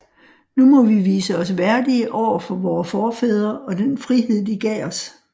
Nu må vi vise os værdige overfor vore forfædre og den frihed de gav os